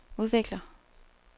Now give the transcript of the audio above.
udvikler